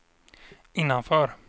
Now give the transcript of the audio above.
innanför